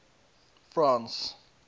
france